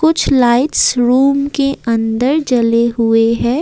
कुछ lights room के अंदर जले हुए हैं।